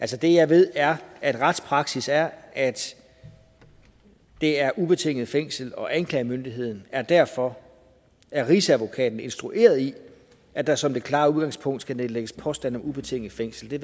det jeg ved er at retspraksis er at det er ubetinget fængsel og anklagemyndigheden er derfor af rigsadvokaten instrueret i at der som det klare udgangspunkt skal nedlægges påstand om ubetinget fængsel det